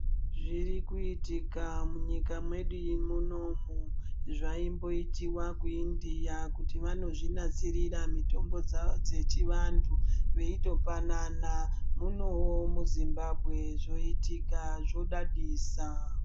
Zvirikuitika munyika medu munomu zvaimboitiwa ku India kuti vanozvinasirira mitombo dzavo dzechivantu veitopanana, munowo mu Zimbabwe zvoitika zvodadisa.